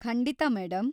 ಖಂಡಿತ, ಮೇಡಂ.